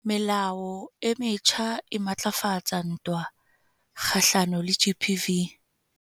Melao e metjha e matlafatsa ntwa kgahlano le GBV